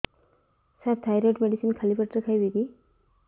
ସାର thyroid medicine ଖାଲି ପେଟରେ ଖାଇବି କି